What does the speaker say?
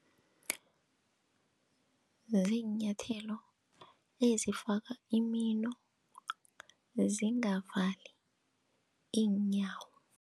Ziinyathelo ezifaka imino zingavali iinyawo.